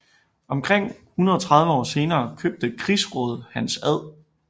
Omkring 130 år senere købte krigsråd Hans Ad